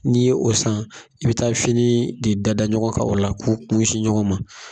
N'i ye o san i be taa fini de dada ɲɔgɔn ka o la k'u kun sin ɲɔgɔn ma